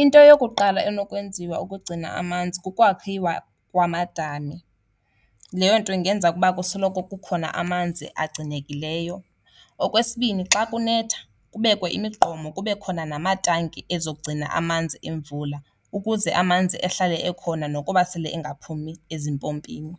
Into eyokuqala enokwenziwa ukugcina amanzi kokwakhiwa kwamadami. Leyo nto ingenza ukuba kusoloko kukhona amanzi agcinelekileyo. Okwesibini xa kunetha kubekwe imigqomo, kube khona namatanki ezogcina amanzi emvula ukuze amanzi ehlale ekhona nokuba sele ingaphumi ezimpompini.